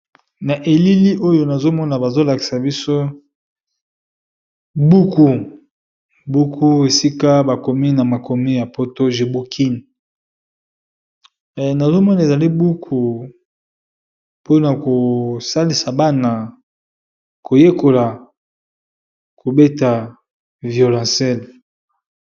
Na elili oyo nazomona bazolakisa biso buku buku esika bakomi na makomi ya poto jibukin, nazomona ezali buku mpona kosalisa bana koyekola kobeta violencele.